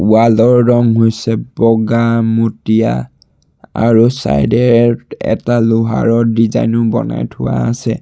Wall ৰ ৰঙ হৈছে বগা মটীয়া আৰু ছাইডে এ এটা লোহাৰৰ ডিজাইনো বনাই থোৱা আছে।